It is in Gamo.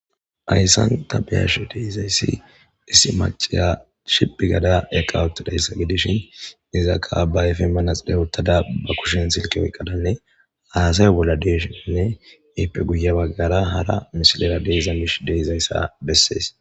Hayssan ta bea'she dizzayssi issi maccaya shiphi gada eqqawuttidayssa gidishin izzakka ba ayffen maraxinne wothada be kushshen silkke oyqadanne hassayo bollan de'shinne ippe guyye baggara hara missilera de'zza mishshi de'zayssa besses.